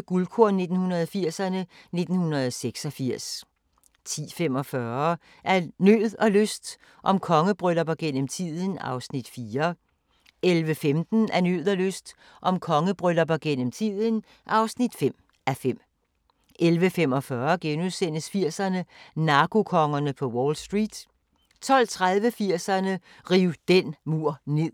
Guldkorn 1980'erne: 1986 10:45: Af nød og lyst – om kongebryllupper gennem tiden (4:5) 11:15: Af nød og lyst – om kongebryllupper gennem tiden (5:5) 11:45: 80'erne: Narkokongerne på Wall Street * 12:30: 80'erne: Riv den mur ned